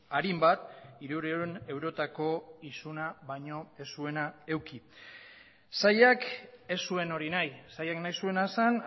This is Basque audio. arin bat hirurehun eurotako isuna baino ez zuena eduki sailak ez zuen hori nahi sailak nahi zuena zen